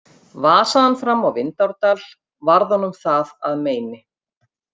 Vasaði hann fram á Vindárdal varð honum það að meini.